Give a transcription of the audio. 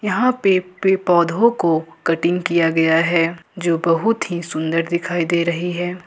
यहां पे पेड़ पौधों को कटिंग किया गया है जो बहुत ही सुंदर दिखाई दे रही है।